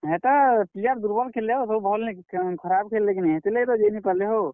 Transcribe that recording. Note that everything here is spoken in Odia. ହେଟା, player ଦୁର୍ବଲ୍ ଖେଲ୍ଲେ ହୋ ସବୁ ଭଲ୍ ନେଇ ଖରାପ୍ ଖେଲ୍ଲେ କିନି ହେତିର୍ ଲାଗି ତ ଜେଇ ନେ ପାର୍ ଲେ ହୋ।